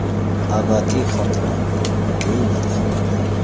Abadiy xotira”, – deyiladi xabarda.